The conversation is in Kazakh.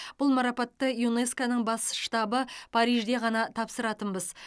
бұл марапатты юнеско ның бас штабы парижде ғана тапсыратынбыз